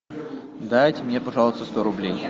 дайте мне пожалуйста сто рублей